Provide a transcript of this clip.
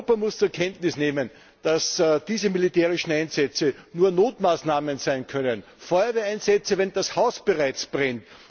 Europa muss zur Kenntnis nehmen, dass diese militärischen Einsätze nur Notmaßnahmen sein können Feuerwehreinsätze, wenn das Haus bereits brennt.